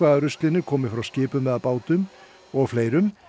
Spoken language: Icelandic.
af ruslinu komi frá skipum eða bátum og fleirum